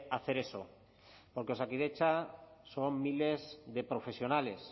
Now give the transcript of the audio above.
hacer eso porque osakidetza son miles de profesionales